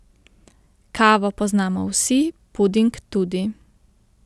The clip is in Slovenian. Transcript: Kavo poznamo vsi, puding tudi.